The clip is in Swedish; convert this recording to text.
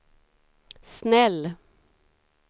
snäll